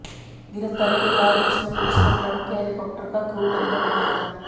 गिरफ्तारी के बाद उसने पुलिस को ट्रंप के हेलिकॉप्टर का क्रू मेंबर बताया था